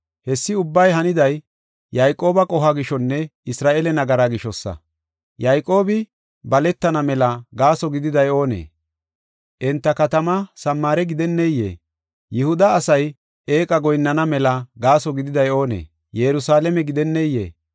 Hessi ubbay haniday Yayqooba qohuwa gishonne Isra7eele nagaraa gishosa. Yayqoobi baletana mela gaaso gididay oonee? Enta katamaa Samaare gidenneyee? Yihuda asay eeqa goyinnana mela gaaso gididay oonee? Yerusalaame gidenneyee?